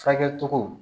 Furakɛ cogo